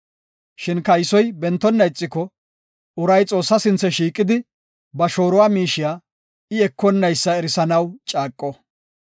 Shin kaysoy bentonna ixiko, uray Xoossaa sinthe shiiqidi, ba shooruwa miishiya, I ekonnaysa erisanaw caaqo.